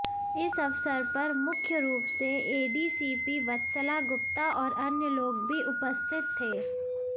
इस अवसर पर मुख्य रूप से एडीसीपी वत्सला गुप्ता और अन्य लोग भी उपस्थित थे